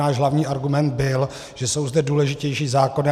Náš hlavní argument byl, že jsou zde důležitější zákony.